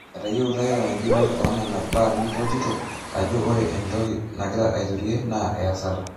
Etayiewua Iran enjurore onena baa nimpotito ajo ore entoki nagira airutie naa eyasata.